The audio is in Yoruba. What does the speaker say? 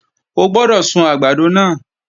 O gbọ́dọ̀ sun àgbàdo náà!